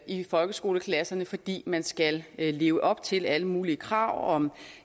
i folkeskoleklasserne fordi man skal leve op til alle mulige krav om